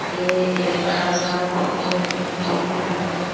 यह एक बड़ा सा ऑफिस है पी थ्री के नाम से।